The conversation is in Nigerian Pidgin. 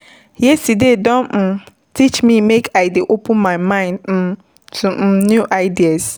Yesterday don um teach me make I dey open my mind um to um new ideas.